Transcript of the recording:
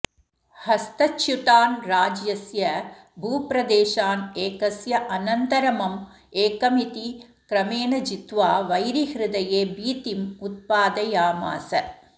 हस्तच्युतान् राज्यस्य भूप्रदेशान् एकस्य अनन्तरमम् एकमिति क्रमेण जित्वा वैरिहृदये भीतिम् उत्पादयामास